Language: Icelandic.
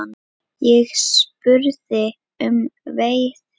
Ég spurði um veiði.